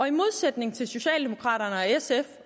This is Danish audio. i modsætning til socialdemokraterne og sf